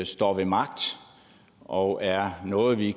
står ved magt og er noget vi